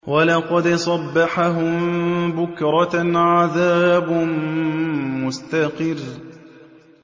وَلَقَدْ صَبَّحَهُم بُكْرَةً عَذَابٌ مُّسْتَقِرٌّ